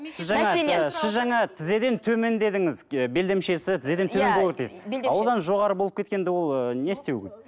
сіз жаңа тізеден төмен дедіңіз ы белдемшесі тізеден төмен болу керек дейсіз а одан жоғары болып кеткенде ол ыыы не істеу керек